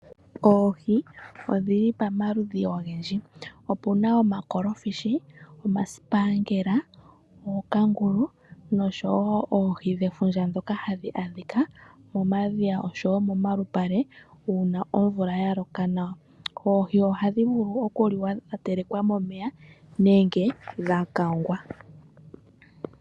Oohi odhili pamaludhi ogendji opuna omakolofishi, omaspangela , ookangulu noshowo oohi dhefundja ndhoka hadhi adhika momadhiya oshowo momalupale una omvula yaloka nawa. Oohi ohadhi vulu okuliwa dha telekwa momeya nenge dha kangwa.